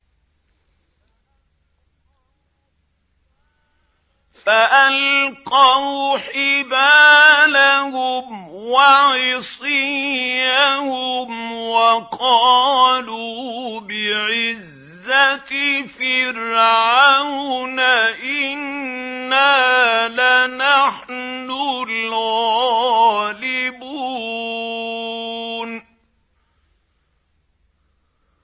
فَأَلْقَوْا حِبَالَهُمْ وَعِصِيَّهُمْ وَقَالُوا بِعِزَّةِ فِرْعَوْنَ إِنَّا لَنَحْنُ الْغَالِبُونَ